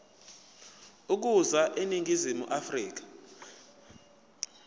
ukuza eningizimu afrika